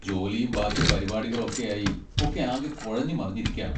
ജോലിയും ബാക്കി പരിപാടികളും ഒക്കെയായി ഒക്കെ ആകെ കുഴഞ്ഞുമറിഞ്ഞിരിക്കാണ്.